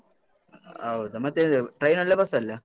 ಹೌದ ಮತ್ತೇ ಎಂತ train ಅಲ್ಲಾ? ಬಸ್ಸಲ್ಲ್ಯ?